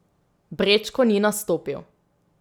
Brečko ni nastopil.